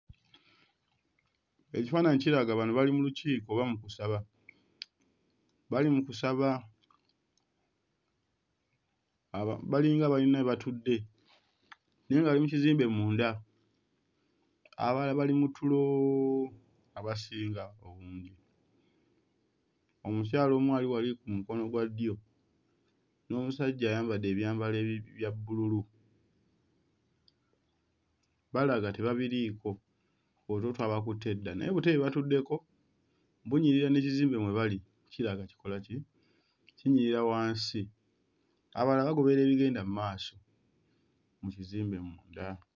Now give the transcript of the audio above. Ekifaananyi kiraga, bano bali mu lukiiko oba mu kusaba, bali mu kusaba, aba balinga abayina we batudde naye nga bali mu kizimbe munda abalala bali mu tulo abasinga obungi, omukyala omu ali wali ku mukono gwa ddyo n'omusajja ayambadde ebyambalo ebi bya bbululu balaga tebabiriiko otulo twabakutte dda, naye obutebe bwe batuddeko bunyirira n'ekizimbe mwe bali kiraga kikola ki kinyirira wansi, abalala bagoberera ebigenda mmaaso mu kizimbe munda.